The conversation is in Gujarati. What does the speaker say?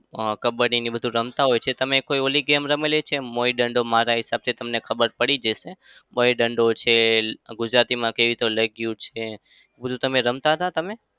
આહ કબ્બડીને બધું રમતા હોય છે. તમે કોઈ પેલી game રમેલી છે? મોઇ દંડો? મારા હિસાબથી તમને ખબર પડી ગઈ હશે મોઈ દંડો છે. ગુજરાતીમાં કઈ એ તો છે. એ બધું રમતા હતાં તમે?